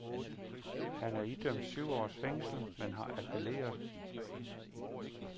Han er idømt syv års fængsel, men har appelleret.